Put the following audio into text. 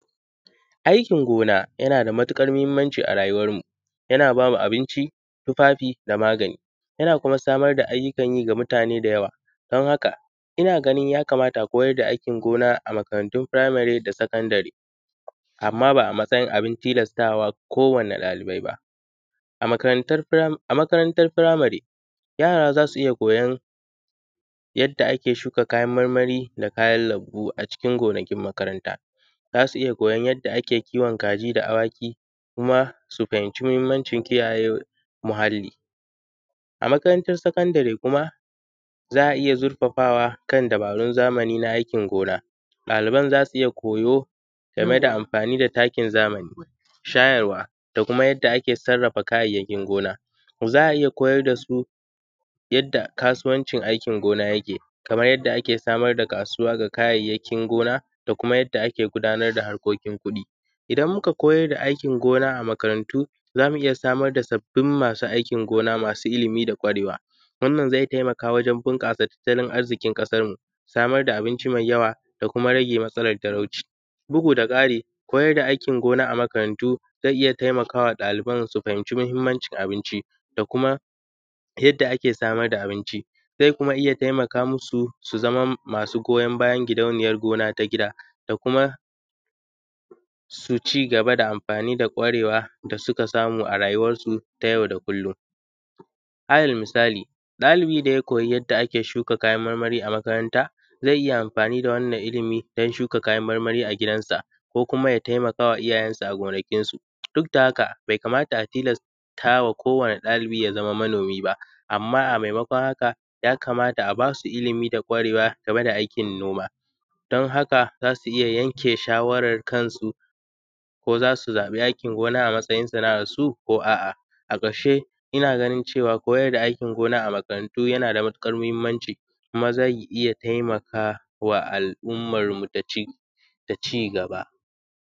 Aikin gona yana da matiƙar mahimmanci a rayuwarmu, yana ba mu abinci, tufafi da magani, yana kuma samar da ayyukan yi ga mutane da yawa. Don haka, ina ganin ya kamata a koyar da aikin gona a makarantun firaimare da sakandare amma ba a matsayin abin tilasta wa kowane ɗalibai ba. A makarantar fira; a makarantar firamare, yara za su iya koyon yadda ake shuka kayan marmari da kayan lambu a cikin gonakin makaranta. Za su iya koyon yadda ake kiwon kaji da awaki kuma su fahimci mahimmancin kiyaye muhalli. A makarantar sakandare kuma, za a iya zurfafawa kan dabarun zamani na aikin gona. Ɗaliban za su iya koyo game da amfani da takin zamani, shayarwa da kuma yadda ake sarrafa kayayyakin gona. Za a iya koyar da su yadda kasuwancin aikin gona yake, kamar yadda ake samar da kasuwa ga kayayyakin gona da kuma yadda ake samar da harkokin kuɗi. Idan muka koyar da aikin gona a makarantu, za mu iya samar da sabbin masu aikin gona masu ilimi da ƙwarewa, wannan zai taimaka wajen bunƙasa tattalin arziƙin ƙasarmu, samar da abinci mai yawa da kuma rage matsalar talauci. Bugu da ƙari, koyar da aikin gona a makarantu zai iya taimaka wa ɗaliban su fahimci mahimmancin abinci da kuma yadda ake samar da abinci. Zai kuma iya taimaka musu su zama masu goyon bayan gidauniyar gona ta gida da kuma su ci gaba da amfani da ƙwarewa da suka samu a rayuwarsu ta yau da kullum. Alal misali, ɗalibi da ya koyi yadda ake shuka kayan marmari a makaranta, zai iya amfani da wannan ilimi dan shuka kayan marmari a gidansa ko kuma ya taimaka wa iyayensa a gonakinsu. Duk da haka, be kamata a tilasta wa kowane ɗalibi ya zama manomi ba, amma a maimakon haka, ya kamata a ba su ilimi da ƙwarewa game da aikin noma. Don haka, za su iya yanke shawarar kansu, ko za su zaƃi aikin gona a matsayin sana’arsu ko a’a. A ƙarshe, ina ganin cewa koyar da aikin gona a makarantu yana da matuƙar mihimmanci, kuma zai iya taimaka wa al’ummanmu da ci; da cigaba.